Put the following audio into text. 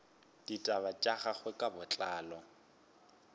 ditaba tša gagwe ka botlalo